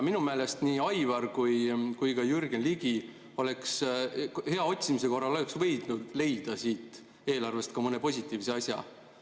Minu meelest nii Aivar kui ka Jürgen Ligi oleks hea otsimise korral võinud leida siit eelarvest ka mõne positiivse asja.